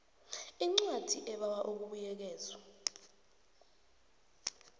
incwadi ebawa ukubuyekezwa